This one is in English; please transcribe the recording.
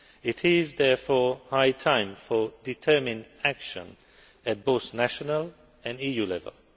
It is, therefore, high time for determined action at both national and EU level.